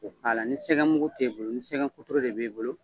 K'o k'a la ni sɛgɛn mugu te bolo ni sɛgɛnkotoro de b'e bolo